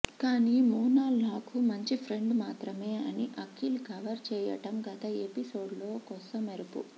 కానీ మోనాల్ నాకు మంచి ఫ్రెండ్ మాత్రమే అని అఖిల్ కవర్ చేయడం గత ఎపిసోడ్లో కొసమెరుపు